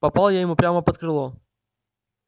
попал я ему прямо под крыло